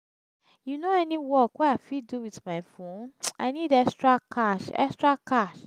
you know any work wey i fit do wit my phone? i need extra cash. extra cash.